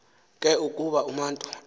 ke ukuba umatu